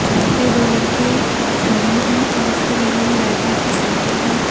जहां पे दो लड़के खड़े हैं और उसके बगल में बैठने की सीटे हैं।